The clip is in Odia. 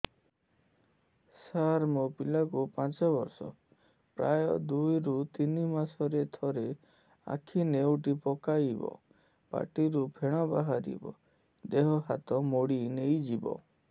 ସାର ମୋ ପିଲା କୁ ପାଞ୍ଚ ବର୍ଷ ପ୍ରାୟ ଦୁଇରୁ ତିନି ମାସ ରେ ଥରେ ଆଖି ନେଉଟି ପକାଇବ ପାଟିରୁ ଫେଣ ବାହାରିବ ଦେହ ହାତ ମୋଡି ନେଇଯିବ